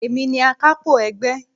Èmi ni akapo ẹgbẹ́.